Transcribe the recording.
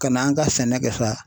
Ka n'an ka sɛnɛ kɛ sa